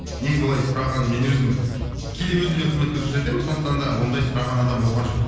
негізі олай сұраған мен өзім кейде өзім де қызмет көрсетемін сондықтан да ондай сұраған адам болған жоқ